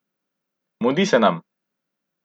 Mudi se nam!